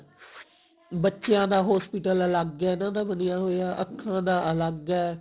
ਬੱਚਿਆ ਦਾ hospital ਅੱਲਗ ਹੈ ਇਹਨਾਂ ਦਾ ਬਣਿਆ ਹੋਇਆ ਅੱਖਾ ਦਾ ਅੱਲਗ ਹੈ